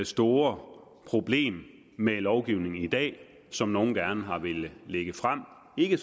store problem med lovgivningen i dag som nogle gerne har villet lægge frem ikke